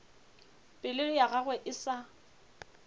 pelo ya gagwe e sa